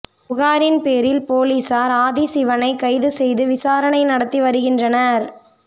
புகாரின் பேரில் பொலிசார் ஆதிசிவனை கைது செய்து விசாரணை நடத்தி வருகின்றனர்